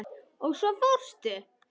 Og svo fórstu.